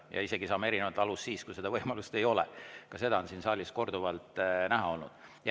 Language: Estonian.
Isegi siis saame erinevalt aru, kui võimalust ei ole – ka seda on siin saalis korduvalt näha olnud.